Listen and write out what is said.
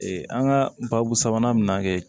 an ka baabu sabanan min na kɛ